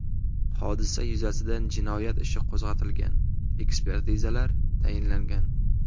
Hodisa yuzasidan jinoyat ishi qo‘zg‘atilgan, ekspertizalar tayinlangan.